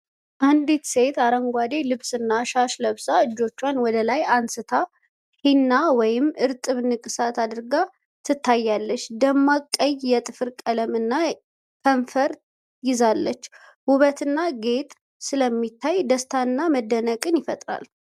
አንዲት ሴት አረንጓዴ ልብስና ሻሽ ለብሳ፣ እጆቿን ወደ ላይ አንስታ ሄና ወይም እርጥብ ንቅሳት አድርጋ ትታያለች። ደማቅ ቀይ የጥፍር ቀለም እና ከንፈር ይዛለች። ውበትና ጌጥ ስለሚታይ ደስታንና መደነቅን ይፈጥራል።